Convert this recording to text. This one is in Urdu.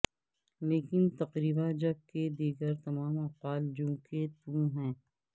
لیکن تقریبا جبکہ دیگر تمام افعال جوں کے توں ہیں